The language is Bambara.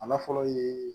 A na fɔlɔ ye